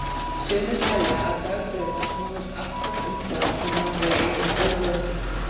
Sumir telja að dagdraumar snúist alltaf um það sem við eigum ólokið.